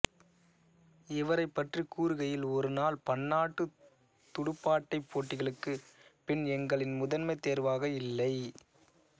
இவரைப் பற்றி கூறுகையில் ஒருநாள் பன்னாட்டுத் துடுப்பாட்டப் போட்டிகளுக்கு ஃபின் எங்களின் முதன்மைத் தேர்வாக இல்லை